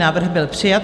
Návrh byl přijat.